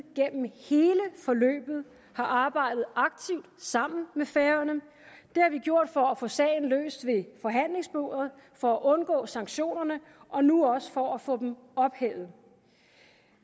gennem hele forløbet har arbejdet aktivt sammen med færøerne det har vi gjort for at få sagen løst ved forhandlingsbordet for at undgå sanktionerne og nu også for at få dem ophævet